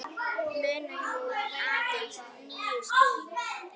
Munar nú aðeins níu stigum.